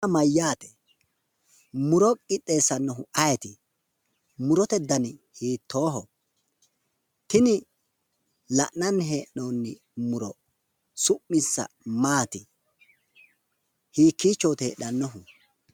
Yaa mayyaate? muro qixxeesaannohu ayeeti? Murote dani hiittooho? Tini la'nanni hee'noonni muro su'minsa maati? Hiikkichooti heedhannohu?